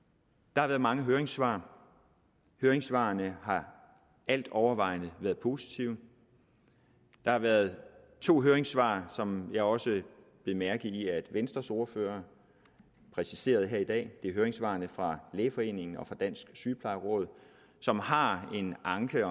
der har været mange høringssvar høringssvarene har altovervejende været positive der har været to høringssvar som jeg også bed mærke i at venstres ordfører præciserede her i dag det er høringssvarene fra lægeforeningen og fra dansk sygeplejeråd som har en anke